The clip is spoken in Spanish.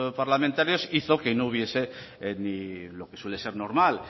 parlamentarios hizo que no hubiese ni lo que suele ser normal